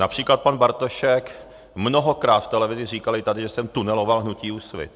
Například pan Bartošek mnohokrát v televizi říkal, i tady, že jsem tuneloval hnutí Úsvit.